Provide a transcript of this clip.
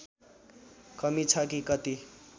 कमी छ कि कति